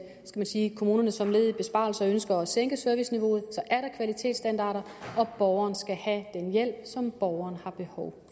os sige kommunerne som led i besparelser ønsker at sænke serviceniveauet så er der kvalitetsstandarder og borgeren skal have den hjælp som borgeren har behov